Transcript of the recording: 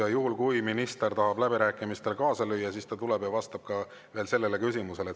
Ja juhul, kui minister tahab läbirääkimistel kaasa lüüa, ta tuleb ja vastab veel ka sellele küsimusele.